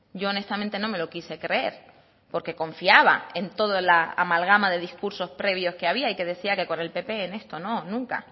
yo honestamente no me lo quise creer porque confiaba en toda la amalgama de discursos previos que había y que decía que con el pp en esto no nunca